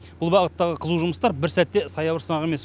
бұл бағыттағы қызу жұмыстар бір сәт те саябырсымақ емес